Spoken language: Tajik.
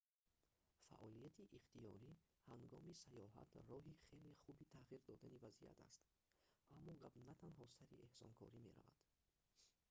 фаъолияти ихтиёрӣ ҳангоми сайёҳат роҳи хеле хуби тағйир додани вазъият аст аммо гап на танҳо сари эҳсонкорӣ меравад